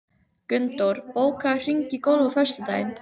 Gunndór, bókaðu hring í golf á föstudaginn.